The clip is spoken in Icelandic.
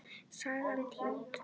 Sagan týnd.